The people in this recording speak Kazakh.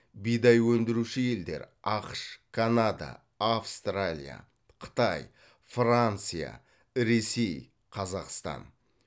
бидай өндіруші елдер ақш канада австралия қытай франция ресей қазақстан